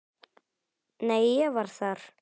Nei, ég var þar